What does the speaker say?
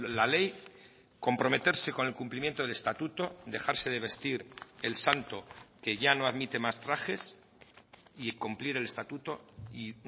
la ley comprometerse con el cumplimiento del estatuto dejarse de vestir el santo que ya no admite más trajes y cumplir el estatuto y